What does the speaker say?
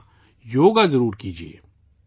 ہاں ! یوگا ضرور کیجئے